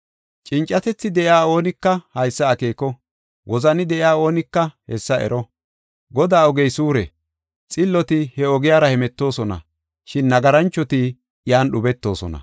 Cincatethi de7iya oonika haysa akeeko; wozani de7iya oonika hessa ero. Godaa ogey suure; xilloti he ogiyara hemetoosona; shin nagaranchoti iyan dhubetoosona.